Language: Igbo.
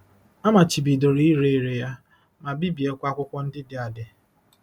A machibidoro ire ere ya, ma bibiekwa akwụkwọ ndị dị adị.